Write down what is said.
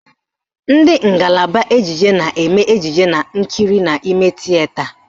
Ndị ngalaba ejije na-eme ejije nkiri n'ime tieta